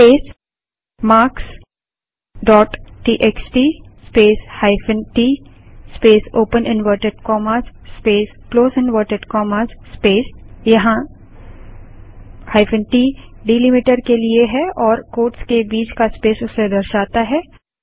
space marks dot TXT space hyphen t space open inverted commas space close inverted commas space यहाँ -t delimiter के लिए है और quotes के बीच का स्पेस उसे दर्शाता है